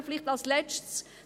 Vielleicht als Letztes: